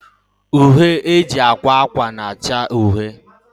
Uhie e ji ekwe akwa na-acha uhie